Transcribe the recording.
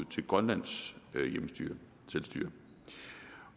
til grønlands selvstyre